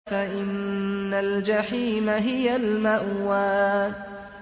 فَإِنَّ الْجَحِيمَ هِيَ الْمَأْوَىٰ